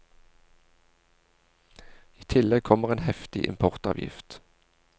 I tillegg kommer en heftig importavgift.